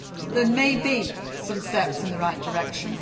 need. There may be some steps in the right direction.